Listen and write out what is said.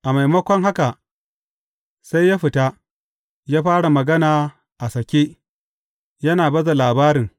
A maimakon haka, sai ya fita, ya fara magana a sake, yana baza labarin.